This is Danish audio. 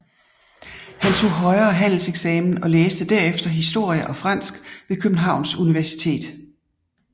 Han tog højere handelseksamen og læste derefter historie og fransk ved Københavns Universitet